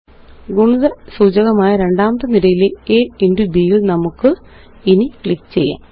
ഗുണിതസൂചകമായ രണ്ടാമത്തെ നിരയിലെ a into b യില് നമുക്കിനി ക്ലിക്ക് ചെയ്യാം